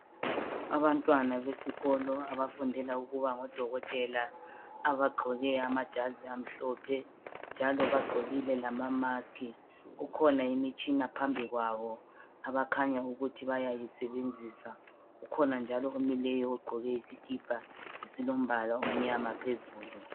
Abantwana besikolo abafundela ukuba ngodokotela abagqoke amajazi amahlophe njalo bagqokile lamamask kukhona imitshina phambi kwabo abakhanya ukuthi bayayisebenzisa kukhona njalo omileyo ogqoke isikipa esilombala omnyama phezulu.